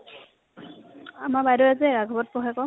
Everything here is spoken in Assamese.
আমাৰ বাইদেও যে ৰাঘবত পঢ়ে আকৌ ।